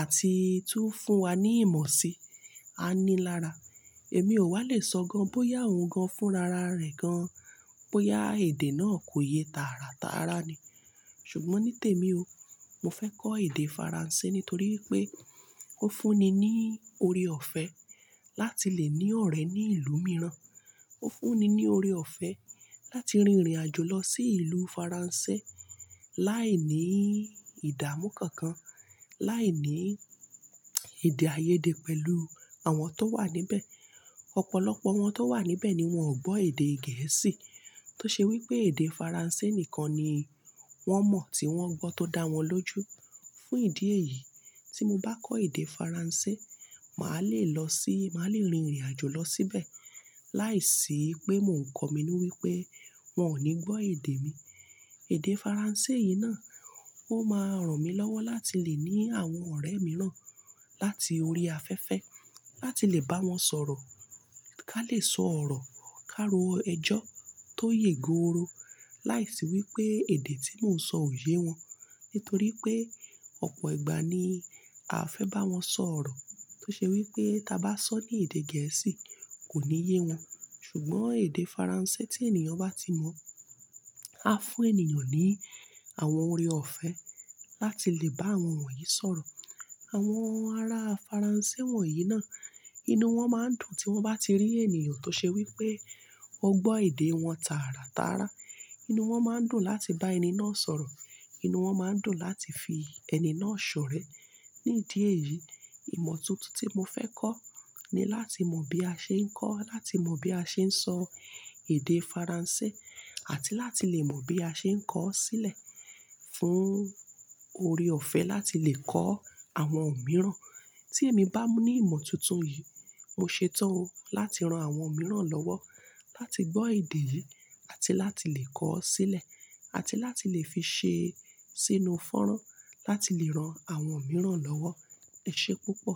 àti tú fún wa ní ìmọ̀ si, a ní lára. Èmi ò wá le sọ gan bóyá òun gan fúnra ra rẹ̀ gan, bóyá èdè náà kò yé tààrà tààrà ni. Ṣùgbọ́n ní tèmi o, mo fẹ́ kọ́ èdè Faransé nítorí wípé ó fún ni ní ori ọ̀fẹ́ láti lè ní ọ̀rẹ́ ní ìlú mìíràn. Ó fún ni ní ori ọ̀fẹ́ láti rìnrìn àjò lọ sí ìlú Faransé láìní ìdámú kankan, láìní èdè-ayéde pẹ̀lú àwọn tó wà níbẹ̀. Ọ̀pọ̀lọpọ̀ àwọn tó wà níbẹ̀ ni wọ́n ò gbọ́ èdè Gẹ̀ẹ́sì. Tó ṣe wípé èdè Faransé nìkan ni wọ́n mọ̀ tí wọ́n gbọ́ tó dá wọn lójú. Fún ìdí èyí, tí mo bá kọ́ èdè Faransé, màá le lọ sí-- màá lè rìnrìn àjò lọ síbẹ̀ láìsí pé mò ń kọ̀ mí inú wípé wọ́n ò ní gbọ́ èdè mi. Èdè Faransé yìí náà ó máa ràn mí lọ́wọ́ láti lè ní àwọn ọ̀rẹ́ mìíràn láti orí afẹ́fẹ́, láti lè bá wọn sọ̀rọ̀, ká lè sọ̀rọ̀ káro ẹjọ́ tó yè góoro láìsí wípé èdè tí mò ń sọ ò ye wọn. Nítorí pé ọ̀pọ̀ ìgbà ni a fẹ́ bá wọn sọ̀rọ̀. Tó ṣe wípé tí a bá sọ ní èdè Gẹ̀ẹ́sì kò ní ye wọn. Ṣùgbọ́n èdè Faransé tí ènìyàn bá ti mọ̀, á fún ènìyàn ní àwọn oré ọ̀fẹ́ láti lè bá àwọn wọ̀nyí sọ̀rọ̀. Àwọn ará Faransé wọ̀nyí náà, inú wọn máa ń dùn tí wọ́n bá ti rí ènìyàn tó ṣe wípé ó gbọ́ èdè wọn tààrà tààrà. Inú wọn máa ń dùn láti bá ẹni náà sọ̀rọ̀. Inú wọn máa ń dùn láti fi ẹni náà ṣọ̀rẹ́. Ní ìdí èyí, ìmọ̀ tuntun tí mo fẹ́ kọ́ ni láti mọ bí a ṣe ń kọ́, láti mọ bí a ṣe ń sọ èdè Faransé, àti láti lè mọ bí a ṣe ń kọ́ ó sílẹ̀ fún oré ọ̀fẹ́ láti lè kọ́ àwọn mìíràn. Tí èmi bá ní ìmọ̀ tuntun yìí, mo ṣetán láti ran àwọn mìíràn lọ́wọ́ láti gbọ́ èdè yìí, àti láti lè kọ́ ọ́ sílẹ̀, àti láti lè fi ṣe sínú fanrán láti lè ran àwọn mìíràn lọ́wọ́. Ẹ ṣé púpọ̀.